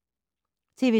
TV 2